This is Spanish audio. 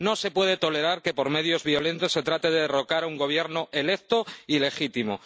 No se puede tolerar que por medios violentos se trate de derrocar a un Gobierno electo y legítimo.